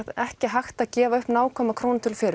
ekki hægt að gefa upp nákvæma krónutölu